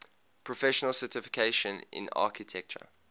professional certification in architecture